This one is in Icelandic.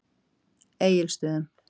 Egilsstöðum